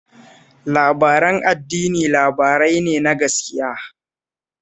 Labaran addini labarai ne ne na gaskiya